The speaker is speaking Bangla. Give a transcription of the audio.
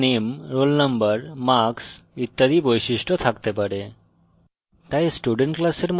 একটি student class name roll number marks ইত্যাদি বৈশিষ্ট্য থাকতে পারে